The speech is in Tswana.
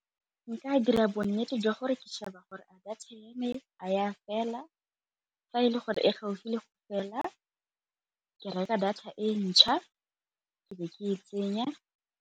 Nka dira bonnete jwa gore ke sheba gore a data ya fela, fa e le gore e gaufi le fela ke reka data e ntšha ke be ke e tsenya.